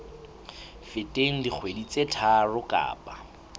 feteng dikgwedi tse tharo kapa